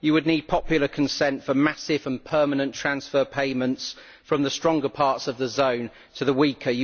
You would need popular consent for massive and permanent transfer payments from the stronger parts of the zone to the weaker.